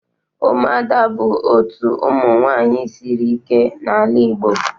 Umuada bụ otu ụmụ nwaanyị sịrị ike n'ala Igbo land